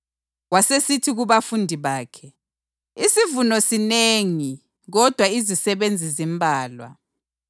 Wasesithi kubafundi bakhe, “Isivuno sinengi kodwa izisebenzi zimbalwa.